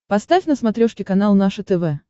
поставь на смотрешке канал наше тв